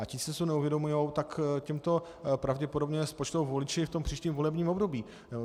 A ti, co si to neuvědomují, tak těm to pravděpodobně spočtou voliči v tom příštím volebním období.